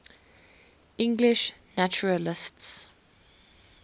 english naturalists